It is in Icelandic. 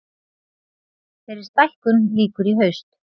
Þeirri stækkun lýkur í haust.